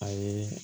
A yeee